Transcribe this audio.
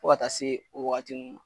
Fɔ ka taa se o wagati nun